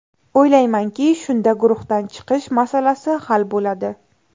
O‘ylaymanki, shunda guruhdan chiqish masalasi hal bo‘ladi.